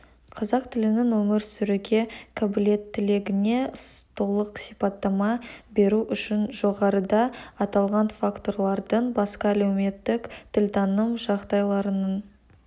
қазақ тілінің өмір сүруге қабілеттілігіне толық сипаттама беру үшін жоғарыда аталған факторлардан басқа әлеуметтік тілтаным жағдайларының